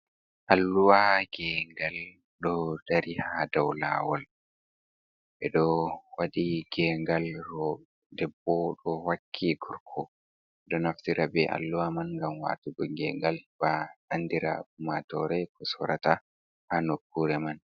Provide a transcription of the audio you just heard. Alluwa gengal do dari ha dau lawol, ɓeɗoo waɗi gengal debbo do wakki gorko. Ɗo naftira be alluwa man ngam watugo gengal, bo andina ummatore ko sorata ha nokkure man.